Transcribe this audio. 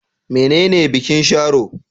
Menene bikin Sharo?